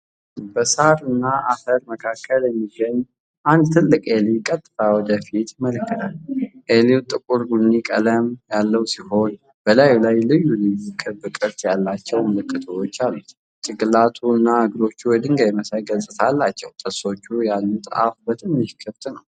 በሳርና አፈር መካከል የሚገኝ አንድ ትልቅ ኤሊ ቀጥታ ወደፊት ይመለከታል። ሼሉ ጥቁር ቡኒ ቀለም ያለው ሲሆን በላዩ ላይ ልዩ ልዩ ክብ ቅርጽ ያላቸው ምልክቶች አሉ። ጭንቅላቱና እግሮቹ የድንጋይ መሳይ ገጽታ አላቸው። ጥርሶች ያሉት አፉ በትንሹ ክፍት ነው።